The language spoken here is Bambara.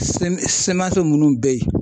munnu beyi.